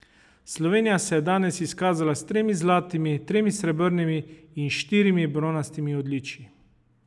Slovenija se je danes izkazala s tremi zlatimi, tremi srebrnimi in štirimi bronastimi odličji.